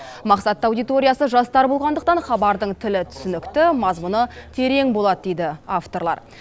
мақсатты аудиториясы жастар болғандықтан хабардың тілі түсінікті мазмұны терең болады дейді авторлар